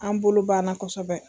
An bolo banna kosɛbɛ.